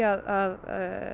að